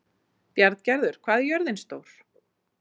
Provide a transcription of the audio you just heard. Bjarngerður, hvað er jörðin stór?